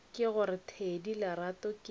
ke gore thedi lerato ke